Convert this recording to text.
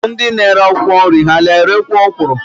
Ndị na-ere akwụkwọ nri ha na-erekwu ọkwụrụ?